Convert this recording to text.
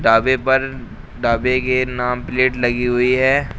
ढाबे पर ढाबे के नाम प्लेट लगी हुई है।